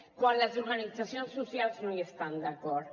quan les organitzacions socials no hi estan d’acord